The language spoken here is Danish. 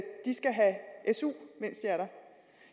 de skal have su mens de er der